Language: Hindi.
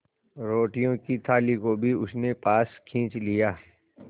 रोटियों की थाली को भी उसने पास खींच लिया